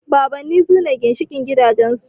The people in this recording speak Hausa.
Babanni sune ginshiƙin gidajen su